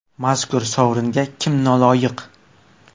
Mazkur sovringa kim noloyiq?